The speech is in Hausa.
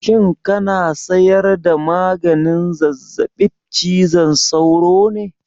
Shin kana saida maganin zazzabib cizon sauro ne?